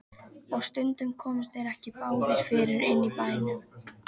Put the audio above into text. Og stundum komust þeir ekki báðir fyrir inni í bænum.